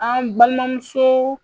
An balimamusoo